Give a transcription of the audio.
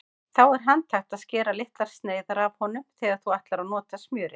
Þá er handhægt að skera litlar sneiðar af honum þegar þú ætlar að nota smjörið.